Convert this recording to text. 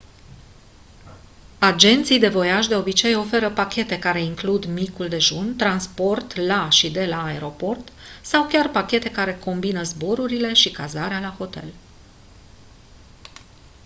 agenții de voiaj de obicei ofertă pachete care includ micul dejun transport la și de la aeroport sau chiar pachete care combină zborurile și cazarea la hotel